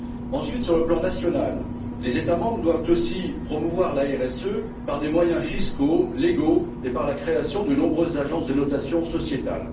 Ensuite, sur le plan national, les États membres doivent aussi promouvoir la RSE par des moyens fiscaux légaux et par la création de nombreuses agences de notation sociétale.